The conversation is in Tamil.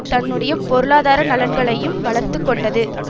தன்னுடைய பொருளாதார நலன்களையும் வளர்த்து கொண்டது